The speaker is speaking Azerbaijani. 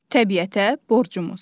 Təbiətə borcumuz.